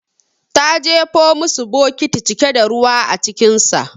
Ta jefo musu bokiti cike da ruwa acikinsa.